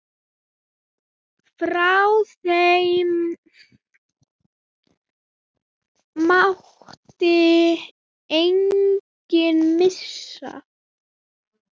Af þeim mátti enginn missa.